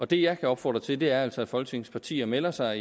det jeg opfordrer til er altså at folketingets partier melder sig